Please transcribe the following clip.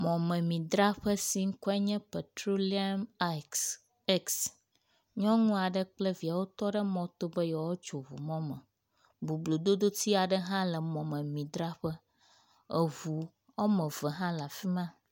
Mɔmedzraƒe si ƒe ŋkɔe nye petroleum aix x. nyɔnu aɖe kple vi wotɔ ɖe mɔto be yewoatso eŋu mɔme. boblododotsi aɖe hã le mɔmemidzraƒe. eŋu wɔme eve hã le afi ma.